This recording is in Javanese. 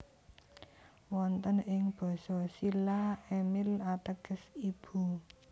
Wonten ing Basa Silla Emille ateges ibu